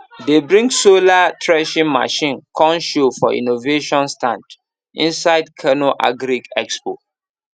dem bring solar threshing machine come show for innovation stand inside kano agri expo